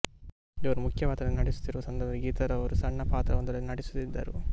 ಇವರು ಮುಖ್ಯ ಪಾತ್ರದಲ್ಲಿ ನಟಿಸುತ್ತಿರುವ ಸಂದರ್ಭದಲ್ಲಿ ಗೀತಾರವರು ಸಣ್ಣ ಪಾತ್ರವೊಂದರಲ್ಲಿ ನಟಿಸುತ್ತಿದ್ದರು